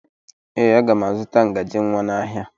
Ee, aga m azụta ngaji nwa n'ahịa.